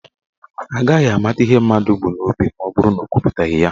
Agaghị ama ihe mmadụ bụ n'obi maọbụrụ na ọ kwuputaghị ya.